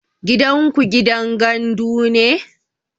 Gidanku gidan gandu ne?